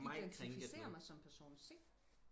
jeg identificerer mig som person c